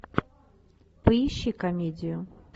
поищи комедию